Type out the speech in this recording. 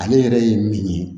Ale yɛrɛ ye min ye